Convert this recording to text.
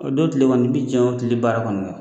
O don kile kɔni i bi jɛ o kile baara kɔni kɔ.